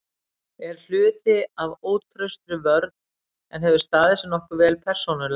Er hluti af ótraustri vörn en hefur staðið sig nokkuð vel persónulega.